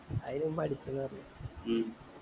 അയിന് മുമ്പേ അടിച്ചെന്ന് പറഞ്ഞു